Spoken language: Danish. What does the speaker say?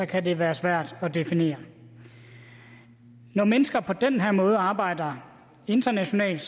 kan det være svært at definere når mennesker på den her måde arbejder internationalt